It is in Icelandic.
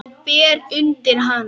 Og bera undir hana.